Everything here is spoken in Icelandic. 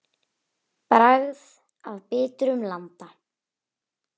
Bragð af bitrum landa.